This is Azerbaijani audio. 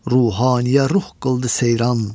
Ruhaniyə ruh qıldı seyran.